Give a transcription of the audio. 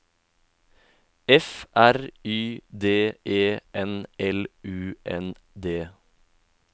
F R Y D E N L U N D